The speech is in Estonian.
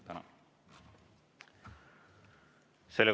Tänan!